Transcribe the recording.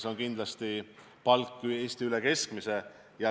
See palk on kindlasti üle Eesti keskmise.